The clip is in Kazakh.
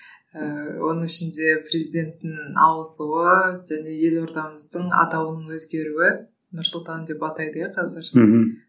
ыыы оның ішінде президенттің ауысуы және елордамыздың атауының өзгеруі нұр сұлтан деп атайды иә қазір мхм